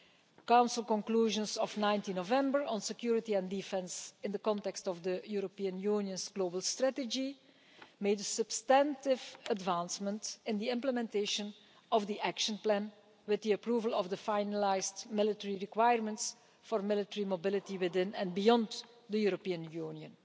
The Council conclusions of 19 November on security and defence in the context of the European Union's global strategy made a substantive advancement in implementation of the Action Plan, with the approval of the finalised military requirements for military mobility within and beyond the European Union.